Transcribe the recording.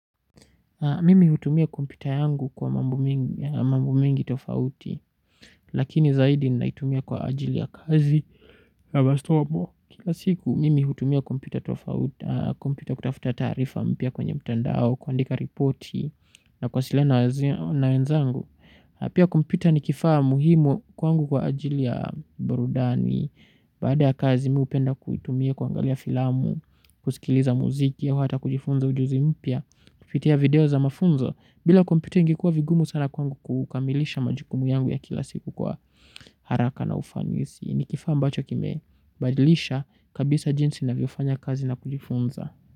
Mimi hutumia kompyuta yangu kwa mambo mengi tofauti, lakini zaidi naitumia kwa ajili ya kazi. Kila siku, mimi hutumia kompyuta kutafuta taarifa mpya kwenye mtandao, kuandika ripoti, na kuwasiliana na wenzangu. Na pia kompyuta ni kifaa muhimu kwangu kwa ajili ya burudani. Baada ya kazi mi hupenda kuitumia kuangalia filamu. Kusikiliza muziki au hata kujifunza ujuzi mpya kupitia video za mafunzo bila kompyuta ingekuwa vigumu sana kwangu kukamilisha majukumu yangu ya kila siku kwa haraka na ufanisi. Ni kifaa mbacho kime badilisha kabisa jinsi navyofanya kazi na kujifunza.